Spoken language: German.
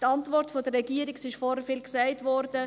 Die Antwort der Regierung wurde bereits oft erwähnt.